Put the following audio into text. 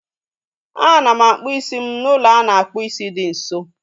A na m akpụ isi m n'ụlọ a na-akpụ isi dị nso